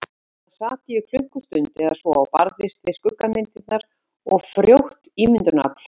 Þarna sat ég í klukkustund eða svo og barðist við skuggamyndirnar og frjótt ímyndunarafl.